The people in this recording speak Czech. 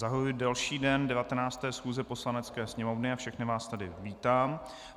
Zahajuji další den 19. schůze Poslanecké sněmovny a všechny vás tady vítám.